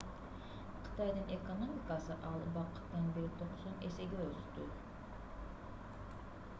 кытайдын экономикасы ал убакыттан бери 90 эсеге өстү